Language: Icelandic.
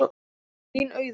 Þín Auður.